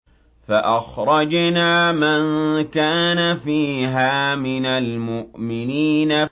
فَأَخْرَجْنَا مَن كَانَ فِيهَا مِنَ الْمُؤْمِنِينَ